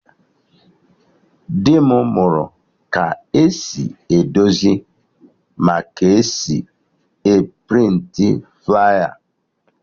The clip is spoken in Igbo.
Dị m mụrụ ka esi edozi ma ka esi a prịntị flaya